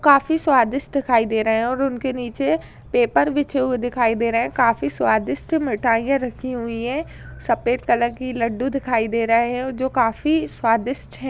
काफी स्वादिष्ट दिखाई दे रहे हैं और उनके नीचे पेपर बिछे हुए दिखाई दे रहे हैं। काफी स्वादिष्ट मिठाइयां रखी हुई हैं। सफ़ेद कलर की लड्डू दिखाई दे रहे हैं ओ जो काफी स्वादिष्ट हैं।